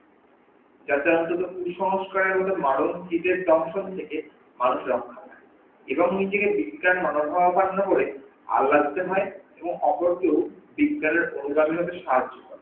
যাতে অন্তত কুসস্কার এর মতো মারন্তিকের থেকে মানুষ রক্ষা পাই এবং নিজেকে বিজ্ঞান মানবভাবাপন্ন হয়ে আল রাখতে হই এবং অপরকেও বিজ্ঞানের অভিনন্দনে সাহায্য করা